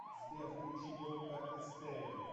сбер включи бомба эстерео